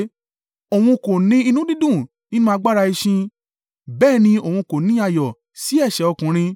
Òun kò ní inú dídùn nínú agbára ẹṣin, bẹ́ẹ̀ ni Òun kò ní ayọ̀ sí ẹ̀ṣẹ̀ ọkùnrin